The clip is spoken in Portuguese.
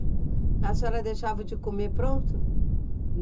É. A senhora deixava o de comer pronto?